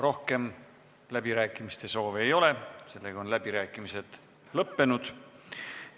Rohkem läbirääkimiste soove ei ole, läbirääkimised on lõppenud.